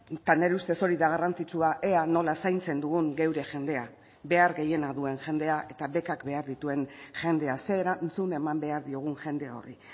eta nire ustez hori da garrantzitsua ea nola zaintzen dugun geure jendea behar gehiena duen jendea eta bekak behar dituen jendea ze erantzun eman behar diogun jende horri